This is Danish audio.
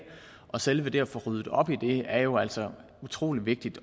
og selve det at få ryddet op i det er jo altså utrolig vigtigt